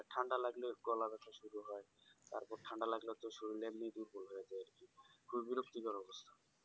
ঠান্ডা লাগলে গলা বেথা শুরু হয় তারপর ঠান্ডা লাগলে তো শরীরের নিয়ে কি বলবো একদম অবস্থা